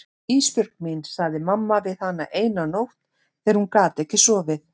Ísbjörg mín, sagði mamma við hana eina nótt þegar hún gat ekki sofið.